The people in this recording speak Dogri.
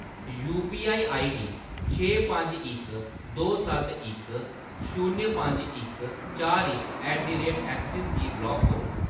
यूपीआईआईडी छे पंज इक दो सत्त इक शून्य पंज इक चार इक ऐट द रेट ऐक्सिस गी ब्लाक करो।